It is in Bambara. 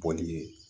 Bɔli ye